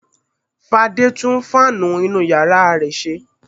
Fadé tún fáánù inú ìyàrá rẹ̀ ṣe.